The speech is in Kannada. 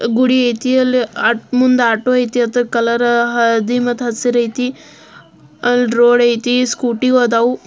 ಗುಡಿ ಐತಿ ಅಲ್ಲಿ ಮುಂದ್ ಆಟೋ ಐತಿ ಅದ್ರ ಕಲರ್ ಹಳದಿ ಹಸ್ರು ಐತಿ ಅಲ ರೋಡ್ ಐತಿ ಸ್ಕೂಟಿ ಆದವು.